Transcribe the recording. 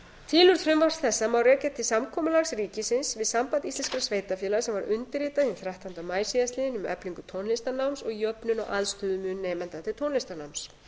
tilurð frumvarps þessa má rekja til samkomulags ríkisins við samband íslenskra sveitarfélaga sem var undirritað hinn þrettánda maí síðastliðinn um eflingu tónlistarnáms og jöfnun á aðstöðumun nemenda til tónlistarnáms